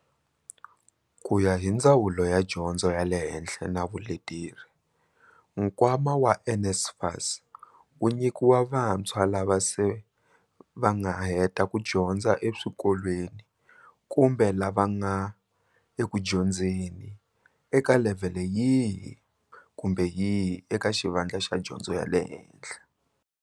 Ku ya hi Ndzawulo ya Dyondzo ya le Henhla na Vuleteri, nkwama wa NSFAS wu nyikiwa vantshwa lava se va nga heta ku dyondza eswikolweni kumbe lava va nga ekudyondzeni eka levhele yihi kumbe yihi eka xivandla xa dyondzo ya le hehla.